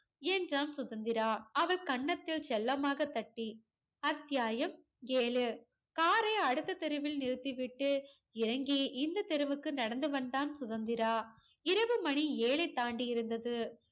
என்றான் சுதந்திரா. அவள் கன்னத்தில் செல்லமாக தட்டி. அத்தியாயம் ஏழு. காரை அடுத்த தெருவில் நிறுத்தி விட்டு இறங்கி இந்த தெருவுக்கு நடந்து வந்தான் சுதந்திரா. இரவு மணி ஏழை தாண்டி இருந்தது.